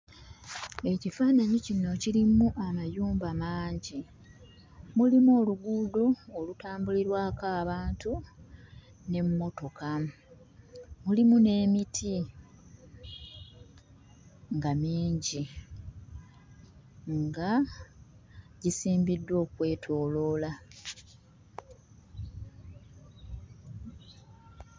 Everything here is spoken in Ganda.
Ekifaananyi kino kirimu amayumba mangi, mulimu oluguudo olutambulirwako abantu n'emmotoka. Lulimu n'emiti nga mingi nga gisimbiddwa okwetooloola.